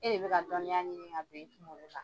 E de bɛka dɔnniya ɲini ka bila i kungolo kan